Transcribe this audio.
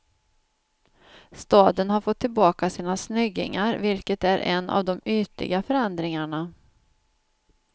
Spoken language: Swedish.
Staden har fått tillbaka sina snyggingar, vilket är en av de ytliga förändringarna.